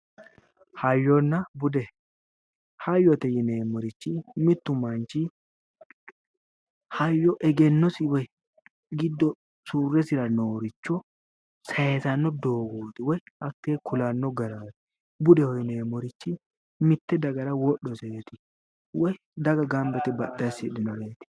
Hayyonn bude, hayyote yinneemmorichi mitu manchi hayyo egennosi woyi giddo surresira nooricho saysano doogoti woyi hatte ku'lanno gara budeho yine woshshinanni, mite dagara woyi daga gamba yite assidhinoreeti